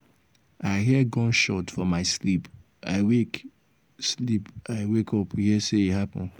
i hear gunshot for my sleep i wake sleep i wake up hear say e happen.